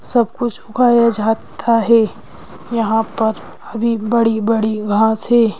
सब कुछ उगाया जाता है यहां पर भी बड़ी-बड़ी घास है।